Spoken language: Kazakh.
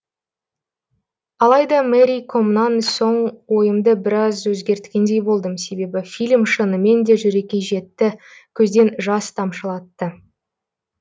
алайда мэри комнан соң ойымды біраз өзгерткендей болдым себебі фильм шынымен де жүрекке жетті көзден жас тамшылатты